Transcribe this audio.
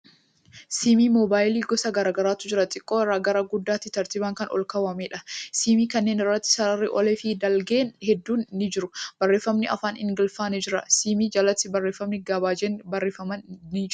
Siimii moobaayilii gosa garagaraatu jira. Xiqqaa irraa gara guddaatti tartiiban kan olkaawwameedha. Siimii kanneen irratti sararri olee fi dalgee hedduun ni jiru. Barreeffamni afaan Ingiliffaa ni jira. Siimii jalatti barreeffamni gabaajeen barreeffaman ni jiru.